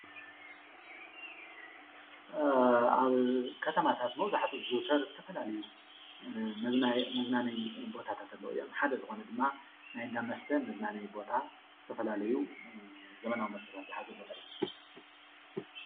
አብ ኸተማታት መብዛሕትኡ ዝዝውተር ዝተፈላላዩ መዝናነዩ ቦታታት ኣለው እዮም። ሓደ ዝኾነ ድማ ናይ እንዳ መስተ ምዝናነዩ ቦታ ዝተፈላላዩ ዘመናዊ መስታት ዝሓዘ ቦታ እዩ።